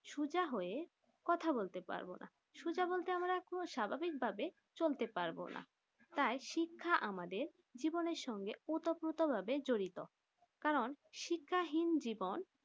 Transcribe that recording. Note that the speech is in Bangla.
সোজা হয়ে কথা বলতে পারবো না সোজা বলতে আমরা একটু স্বাভাবিক ভাবে চলতে পারবোনা তাই শিক্ষা আমাদের জীবনে সঙ্গে ওতঃপ্রোত ভাবে জড়িত কারণ শিক্ষা হীন জীবন